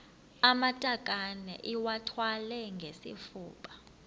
amatakane iwathwale ngesifuba